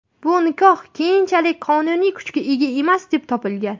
Bu nikoh keyinchalik qonuniy kuchga ega emas, deb topilgan.